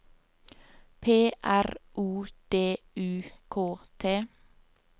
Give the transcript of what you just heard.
P R O D U K T